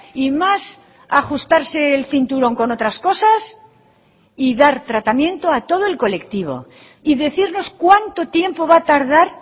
y más ajustarse el cinturón con otras cosas y dar tratamiento a todo el colectivo y decirnos cuánto tiempo va a tardar